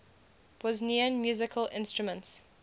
bosnian musical instruments